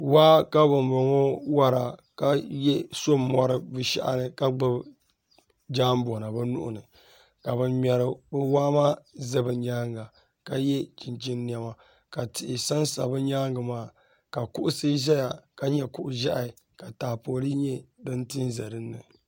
Waa ka bambɔŋɔ wara ka so mɔri bɛ shɛhi ni ka gbubi jambɔna bɛ nuhi ni ka ban ŋmɛri waa maa ʒi bɛ nyaaŋa ka ye chinchini nɛma tihi sansa bɛ nyaaŋa maa ka kuɣusi ʒiya ka nyɛ kuɣ' ʒɛhi ka taapoli nyɛ din ti n-za din ni